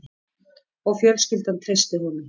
Og fjölskyldan treysti honum